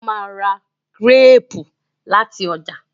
o má rà Gírèèpù lati ọjà